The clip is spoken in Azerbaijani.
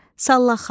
Sallaxana,